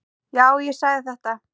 Já, ég sagði þetta.